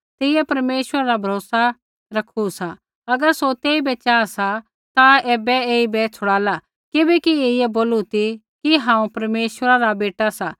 तेइयै परमेश्वरा रा भरोसा रखू सा अगर सौ ऐईबै चाहा सा ता ऐबै ऐईबै छुड़ाला किबैकि ऐईयै बोलू ती कि हांऊँ परमेश्वरा रा बेटा सा